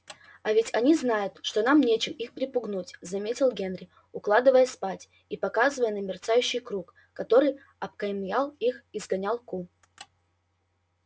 а ведь они знают что нам нечем их припугнуть заметил генри укладываясь спать и показывая на мерцающий круг который окаймлял их и сгонял ку